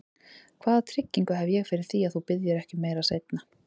Hvaða tryggingu hef ég fyrir því, að þú biðjir ekki um meira seinna?